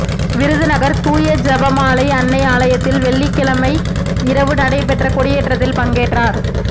விருதுநகா் தூய ஜெபமாலை அன்னை ஆலயத்தில் வெள்ளிக்கிழமை இரவு நடைபெற்ற கொடியேற்றத்தில் பங்கேற்றோர்